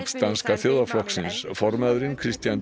Danska þjóðarflokksins formaðurinn Kristian